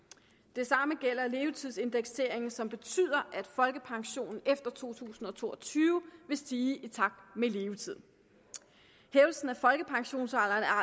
det samme gælder levetidsindekseringen som betyder at folkepensionen efter to tusind og to og tyve vil stige i takt med levetiden hævelsen af folkepensionsalderen